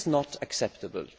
This is not acceptable.